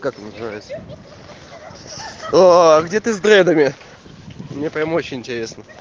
как называется о где ты с дредами мне прямо очень интересно